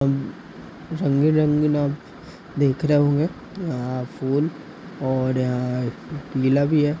रंगीन रंगीन आप देख रहे होंगे फूल और अ अ पीला भी है।